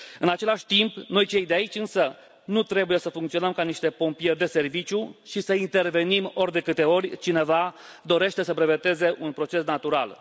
În același timp, noi, cei de aici, însă, nu trebuie să funcționăm ca niște pompieri de serviciu și să intervenim ori de câte ori cineva dorește să breveteze un proces natural.